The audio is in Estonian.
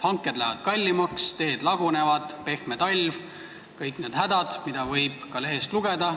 Hanked lähevad kallimaks, teed lagunevad, pehme talv – need on kõik need hädad, mille kohta võib ka lehest lugeda.